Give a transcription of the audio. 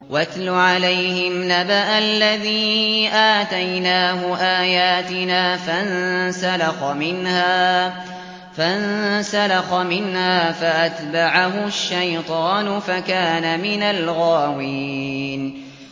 وَاتْلُ عَلَيْهِمْ نَبَأَ الَّذِي آتَيْنَاهُ آيَاتِنَا فَانسَلَخَ مِنْهَا فَأَتْبَعَهُ الشَّيْطَانُ فَكَانَ مِنَ الْغَاوِينَ